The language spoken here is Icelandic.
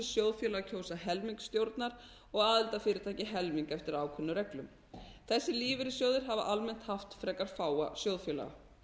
sjóðfélagar kjósa helming stjórnar og aðildarfyrirtæki helming eftir ákveðnum reglum þessir lífeyrissjóðir hafa almennt haft frekar fáa sjóðfélaga